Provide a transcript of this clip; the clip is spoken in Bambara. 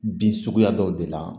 Bin suguya dɔw de la